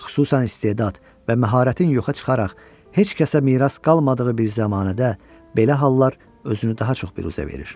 Xüsusan istedad və məharətin yoxa çıxaraq heç kəsə miras qalmadığı bir zəmanədə belə hallar özünü daha çox büruzə verir.